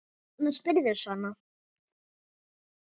Ég er einnar borgar maður.